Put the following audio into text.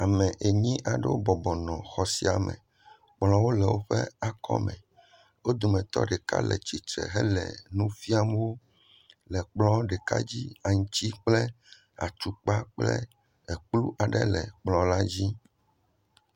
Ame enyi aɖewo bɔbɔ nɔ xɔ sia me kplɔwo le woƒe akɔme wodometɔ ɖeka le titre hele nu fiam wo le kplɔ ɖeka dzi aŋti kple atukpa kple kplu aɖe le kplɔ la dzi